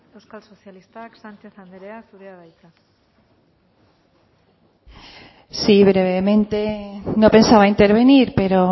euskal sozialistak sánchez andrea zurea da hitza sí brevemente no pensaba intervenir pero